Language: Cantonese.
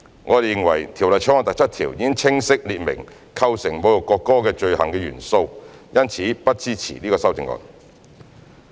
我們認為《條例草案》第7條已清晰列明構成侮辱國歌罪行的元素，因此不支持此修正案。